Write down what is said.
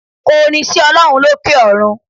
Ko orin sí Olórun lókè òrun